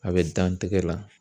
A bɛ dan tɛgɛ la